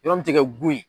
Yɔrɔ min tɛ kɛ bu ye